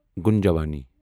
گُنجاونی